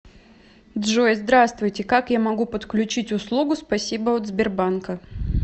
джой здравствуйте как я могу подключить услугу спасибо от сбербанка